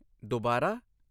ਦੁਬਾਰਾ?